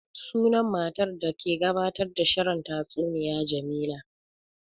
Sunan matar da ke gabatar da shirin tastuniya Jamila